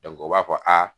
o b'a fɔ a